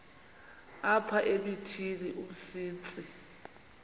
apha emithini umsintsi